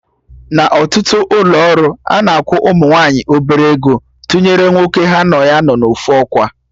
Na ọtụtụ ụlọ ọrụ, ana akwụ ụmụ nwaanyị obere ego tụnyere nwoke ha na ha nọ na ofu ọkwa